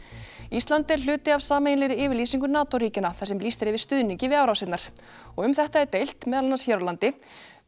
ísland er hluti af sameiginlegri yfirlýsingu NATO ríkjanna þar sem lýst er yfir stuðningi við árásirnar og um þetta er deilt hér á landi